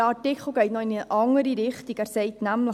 Der Artikel geht noch in eine andere Richtung: